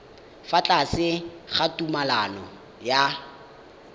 fa tlase ga tumalano ya